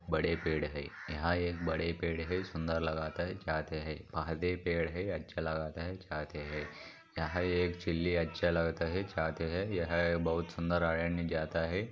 पेड़ है यहा एक बड़े पेड़ है सुंदर लगता है चाहते है पोधे-पेड़ है अच्छा लगता हैचाहते है यहा एक अच्छा लगता है चाहते है। बहुत सुंदर लगता है चाहते है।